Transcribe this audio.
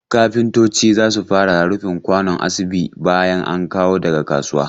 Kafintoci za su fara rufin kwano asibi bayan an kawo daga kasuwa.